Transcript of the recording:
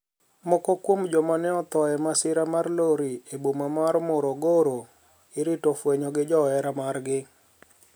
Moko kuom joma ne otho e masira mar lori e boma mar Morogoro irito fueny gi johera margi